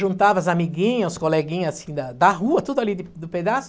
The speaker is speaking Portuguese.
Juntava as amiguinhas, os coleguinhas assim da da rua, tudo ali de do pedaço.